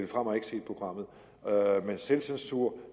frahm har ikke set programmet men selvcensur